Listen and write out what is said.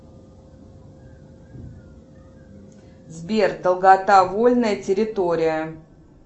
сбер долгота вольная территория